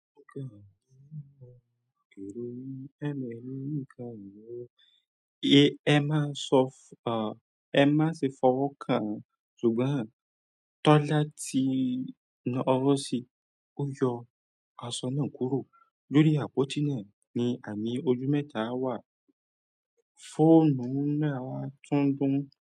Èro mi, ẹ́ mọ̀ ẹ́ ní ìká ìnáwó, ẹ́ má ṣe fọwọ́ kán, ṣùgbọ́n Tọ́lá tí na ọwọ́ sí, ó yọ aṣọ náà kúrò. Lórí àpótí náà ni àmì ojú mẹ́ta wà. Fóònù ńaa tún dùn-